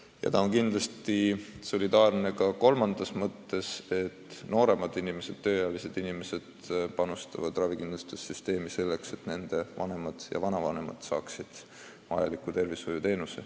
Ja kolmandas mõttes on süsteem solidaarne ka selle poolest, et nooremad, tööealised inimesed, panustavad ravikindlustussüsteemi, selleks et nende vanemad ja vanavanemad saaksid arstiabi.